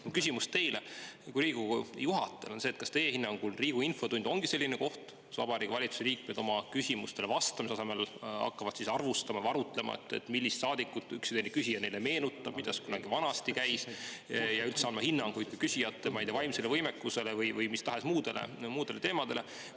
Mu küsimus teile kui Riigikogu juhatajale on see: kas teie hinnangul Riigikogu infotund ongi selline koht, kus Vabariigi Valitsuse liikmed hakkavad küsimustele vastamise asemel teisi arvustama või arutlema, millist saadikut üks või teine küsija neile meenutab, kuidas miski kunagi vanasti käis, ja üldse andma hinnanguid küsijate vaimsele võimekusele või mis tahes muudele teemadele?